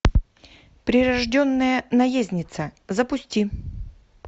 прирожденная наездница запусти